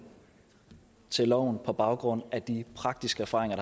til loven på baggrund af de praktiske erfaringer